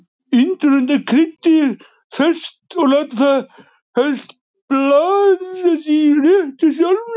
Indverjar nota kryddið ferskt og láta það helst blandast í réttinum sjálfum.